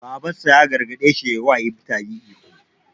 Babansa ya gargaɗe shi yi wa mutane ihu.